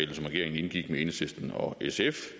regeringen indgik med enhedslisten og sf